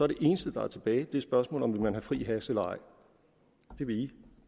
det eneste der er tilbage spørgsmålet om man fri hash eller ej det vil i